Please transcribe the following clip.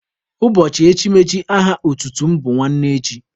Ụbọchị echimechi aha otutu mụ bụ nwanne echi.